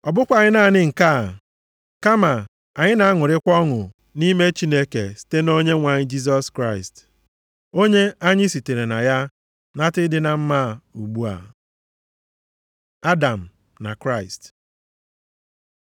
Ọ bụkwaghị naanị nke a, kama anyị na-aṅụrịkwa ọṅụ nʼime Chineke site na Onyenwe anyị Jisọs Kraịst, onye anyị sitere na ya nata ịdị na mma a ugbu a. Adam na Kraịst